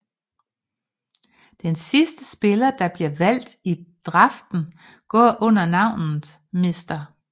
Den sidste spiller der bliver valgt i draften går under navnet Mr